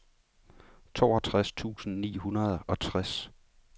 toogtres tusind ni hundrede og tres